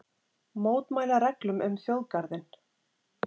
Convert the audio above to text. Mótmæla reglum um þjóðgarðinn